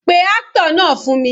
Pé actor náà fún mi.